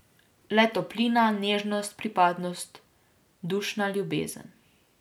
Le toplina, nežnost, pripadnost, dušna ljubezen.